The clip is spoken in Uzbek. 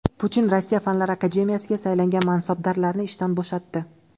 Putin Rossiya fanlar akademiyasiga saylangan mansabdorlarni ishdan bo‘shatdi.